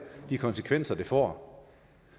de konsekvenser det får